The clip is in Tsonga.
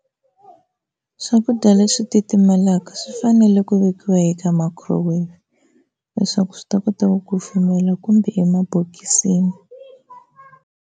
Swakudya leswi titimelaka swi fanele ku vekiwa eka microwave, leswaku swi ta kota ku kufumela kumbe emabokisini.